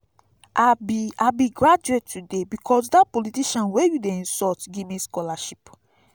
i be i be graduate today because dat politician wey you dey insult give me scholarship